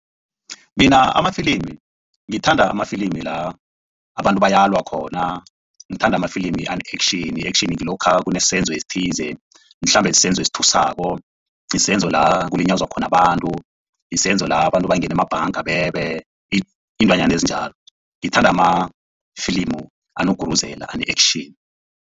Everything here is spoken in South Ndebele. Mina amafilimi ngithanda amafilimi la abantu bayalwa khona ngithanda amafilimi ane-action, action ngilokha kunesenzo esithise mhlambe sisenzo esithusako isenzo la kulinyazwa khona abantu, isenzo la abantu bangena emabhanga bebe iintwanyana ezinjalo ngithanda amafilimu anokuguruzela ane-action.